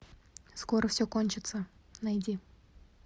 скоро все кончится найди